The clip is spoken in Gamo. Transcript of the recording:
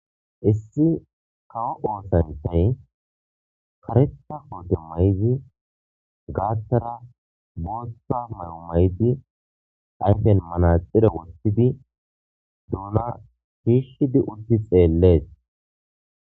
Issi kawo osanchay karetha kotte mayidi gathara Botha mayo mayidi ayfen manaxire wothidi duna birshidi utti xeles